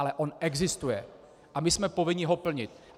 Ale on existuje a my jsme povinni ho plnit.